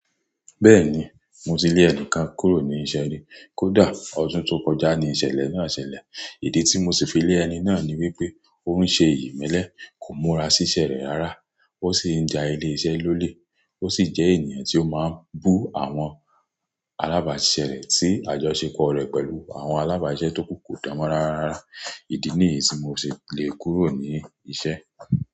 Bẹ́ẹ̀ni, mo ti lè ẹni kan kúrò ní iṣẹ́ ri Kódà ọdún tó kọjá ni ìṣẹ̀lẹ̀ náà ṣẹlẹ̀. Ìdí tí mo si fi le ẹni náà ni wípé ó ń ṣe ìmelẹ, kò múra sí iṣẹ́ rẹ̀ rárá, ó sì ń ja ilé-iṣẹ́ lólè. Ó sì jẹ́ ènìyàn tí ó máa ń bú àwọn alábàáṣise rẹ̀ tí àjọṣepọ̀ rẹ̀ pẹ̀lú àwọn alábàáṣise tó kù kò dánmọ́rán rárá. Ìdí nìyí tí mo ṣe lé e kúrò ní iṣẹ́.